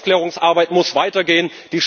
Die Aufklärungsarbeit muss weiter gehen.